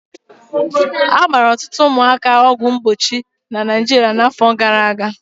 A gbara ọtụtụ ụmụaka ọgwụ mgbochi na Naịjirịa n'afọ gara aga